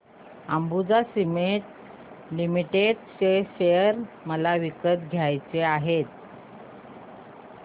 Ambuja Cement Limited share मला विकत घ्यायचे आहेत